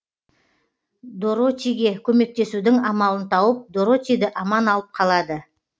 доротиге көмектесудің амалын тауып доротиді аман алып қалады